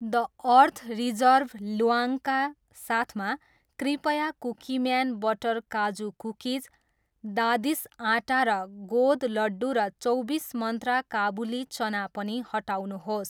The Earth Reserve ल्वाङका साथमा, कृपया कुकिम्यान बटर काजू कुकिज, दादिस् आट्टा र गोँद लड्डू र चौबिस मन्त्रा काबुली चना पनि हटाउनुहोस्।